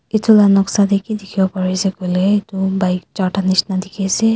edu la noksa tae kidikhiwo parae ase koilae hom bike charta nishina dikhiase.